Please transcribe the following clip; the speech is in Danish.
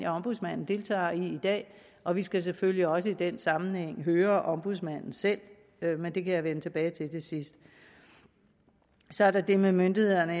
ombudsmanden deltager i i dag og vi skal selvfølgelig også i den sammenhæng høre ombudsmanden selv men det kan jeg vende tilbage til til sidst så er der det med myndighederne og